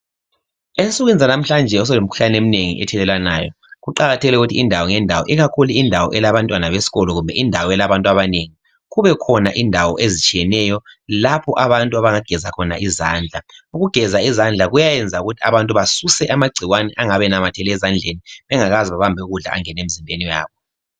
Ensukwini zanamhlanje sekulemikhuhlane eminengi ethelelwanayo. Kuqakathekile ukuthi indawo ngendawo ikakhulu indawo elabantwana besikolo kumbe indawo elabantu abanengi kubekhona indawo ezitshiyeneyo lapho abantu abangageza khona izandla. Ukugeza izandla kuyayenza abantu basuse amagcikwane angabe enamathele ezandleni bangakaze babambe ukudla angene emzimbeni yabo.